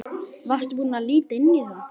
Varstu búinn að líta inn í það?